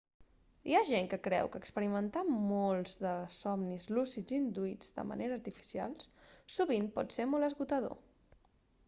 hi ha gent que creu que experimentar molts de somnis lúcids induïts de manera artificial sovint pot ser molt esgotador